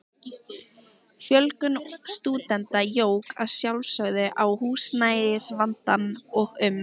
Fjölgun stúdenta jók að sjálfsögðu á húsnæðisvandann og um